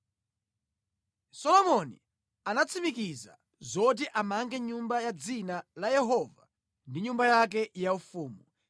Solomoni anatsimikiza zoti amange Nyumba ya Dzina la Yehova ndi nyumba yake yaufumu.